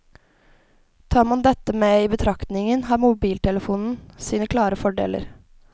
Tar man dette med i betraktningen har mobiltelefonen sine klare fordeler.